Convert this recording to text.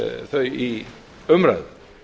þau í umræðu